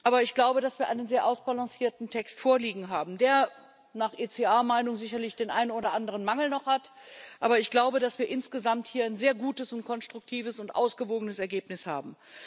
Aber ich glaube, dass wir einen sehr ausbalancierten Text vorliegen haben der nach ECR Meinung sicherlich noch den ein oder anderen Mangel hat, aber ich glaube, dass wir hier insgesamt ein sehr gutes, konstruktives und ausgewogenes Ergebnis haben.